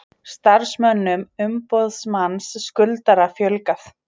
Starfsmönnum umboðsmanns skuldara fjölgað